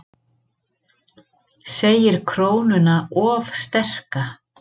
Segir krónuna of sterka